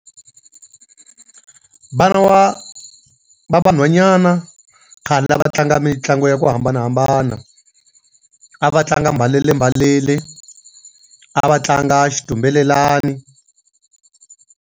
Vana wa va vanhwanyana khale la va tlanga mitlangu ya ku hambanahambana. A va tlanga mbalelembalele, a va tlanga xitumbelelani.